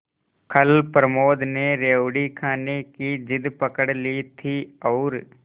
कल प्रमोद ने रेवड़ी खाने की जिद पकड ली थी और